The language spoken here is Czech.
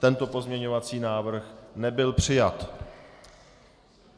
Tento pozměňovací návrh nebyl přijat.